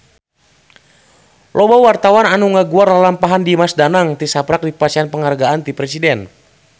Loba wartawan anu ngaguar lalampahan Dimas Danang tisaprak dipasihan panghargaan ti Presiden